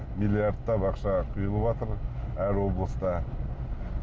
миллиардтап ақша құйылыватыр әр облыста